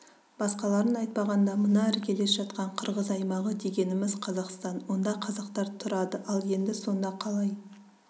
басқаларын айтпағанда мына іргелес жатқан қырғыз аймағы дегеніміз қазақстан онда қазақтар тұрады ал енді сонда қалай